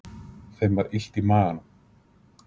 Þeim var illt í maganum.